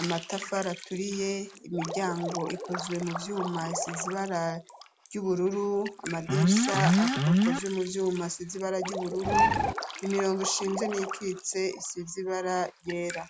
amatafari aturiye, imiryango ikozwe mu vyuma isize ibara ry'ubururu ,amadirisha akozwe mu vyuma asize ibara ry'ubururu ,imirongo ishinze n'iyikitse isize ibara ryera.